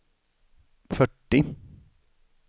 fyrtio